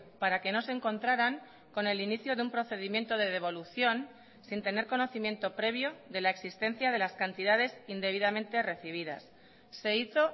para que no se encontraran con el inicio de un procedimiento de devolución sin tener conocimiento previo de la existencia de las cantidades indebidamente recibidas se hizo